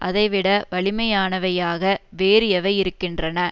அதைவிட வலிமையானவையாக வேறு எவை இருக்கின்றன